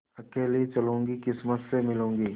अकेली चलूँगी किस्मत से मिलूँगी